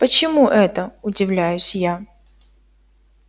почему это удивляюсь я